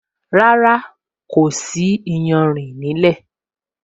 Rárá, kò sí iyanrìn nílẹ́